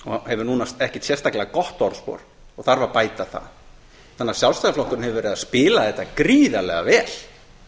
hefur núna ekkert sérstaklega gott orðspor og þarf að bæta það þannig að sjálfstæðisflokkurinn hefur verið að spila þetta gríðarlega vel